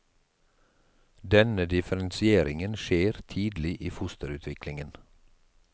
Denne differensieringen skjer tidlig i fosterutviklingen.